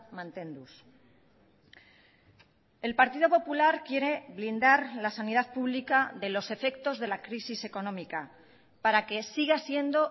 mantenduz el partido popular quiere blindar la sanidad pública de los efectos de la crisis económica para que siga siendo